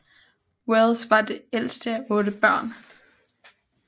Wells var det ældste af 8 børn